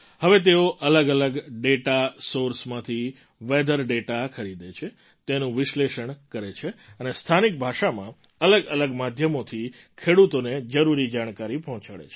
હવે તેઓ અલગઅલગ ડેટા સૉર્સમાંથી વેધર ડેટા ખરીદે છે તેનું વિશ્લેષણ કરે છે અને સ્થાનિક ભાષામાં અલગઅલગ માધ્યમોથી ખેડૂતોને જરૂરી જાણકારી પહોંચાડે છે